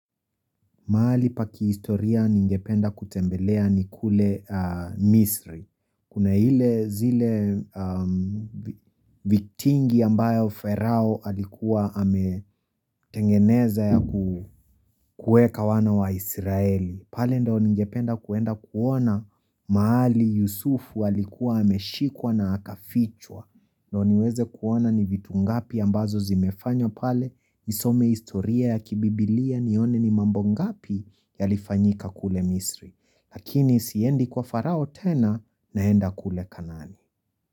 Mahali pa kihistoria, ningependa kutembelea, ni kule misri. Kuna ile zile vitingi ambayo pharao alikuwa ametengeneza ya kueka wana wa israeli. Pale ndio ningependa kuenda kuona, mahali Yusufu alikuwa ameshikwa na akafichwa. Ndio niweze kuona ni vitu ngapi ambazo zimefanywa pale. Nisome historia ya kibibilia, nione ni mambo ngapi. Yalifanyika kule misri, lakini siendi kwa pharao tena, naenda kule kanani.